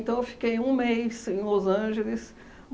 Então, eu fiquei um mês em Los Angeles.